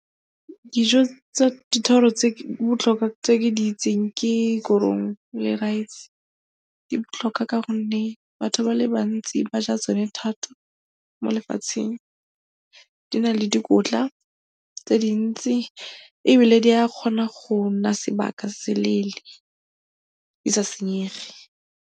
Dijo tsa dithoro tse di botlhokwa tse ke di itseng ke korong le raese, di botlhokwa ka gonne batho ba le bantsi ba ja tsone thata mo lefatsheng. Di na le dikotla tse dintsi ebile di a kgona go nna sebaka se se leele di sa senyege.